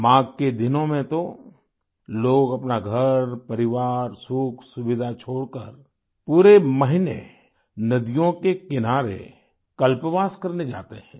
माघ के दिनों में तो लोग अपना घरपरिवार सुखसुविधा छोड़कर पूरे महीने नदियों के किनारे कल्पवास करने जाते हैं